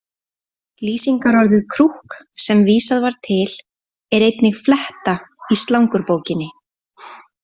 Lýsingarorðið krúkk, sem vísað var til, er einnig fletta í slangurbókinni.